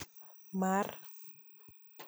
Mar